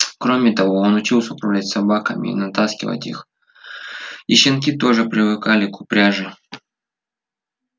кроме того он учился управлять собаками и натаскивать их и щенки тоже привыкали к упряжи